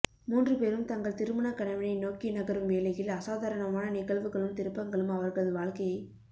மூன்று பேரும் தங்கள் திருமணக் கனவினை நோக்கி நகரும் வேளையில் அசாதாரணமான நிகழ்வுகளும் திருப்பங்களும் அவர்களது வாழ்க்கையைப்